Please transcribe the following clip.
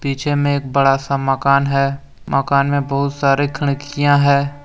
पीछे मे एक बड़ा सा मकान है। मकान मे बहुत सारे खिड़कियां है।